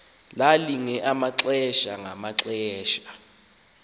lalilinge amaxesha ngamaxesha